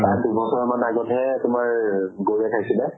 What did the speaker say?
তাৰ দুবছৰ মান আগ্তে তোমাৰ এ গৰুয়ে খাইছিলে।